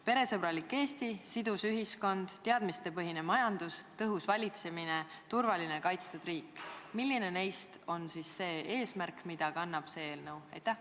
Peresõbralik Eesti, sidus ühiskond, teadmistepõhine majandus, tõhus valitsemine, turvaline, kaitstud riik – milline neist eesmärkidest on seotud selle eelnõuga?